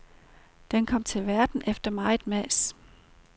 Den kom til verden efter meget mas.